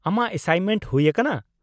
ᱟᱢᱟᱜ ᱮᱥᱟᱭᱤᱱᱢᱮᱱᱴ ᱦᱩᱭ ᱟᱠᱟᱱᱟ ?